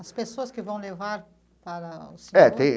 As pessoas que vão levar para o setor? É tem.